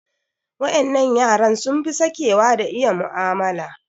Waƴannan yaran sun fi sakewa da iya mu'amala.